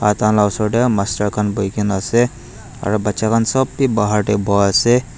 baja khan la oshor tey master khan bohi ka na asa aro baja khan sop be bahar tey bohi ka na asa.